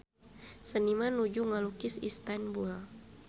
Seniman nuju ngalukis Istanbul